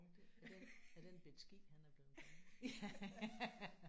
At den at den bette skid han er blevet konge ja